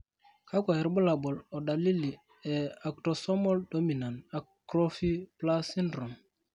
kakwa irbulabol o dalili e Autosomal dominant actrophy plus syndrome?